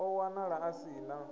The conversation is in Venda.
o wanala a si na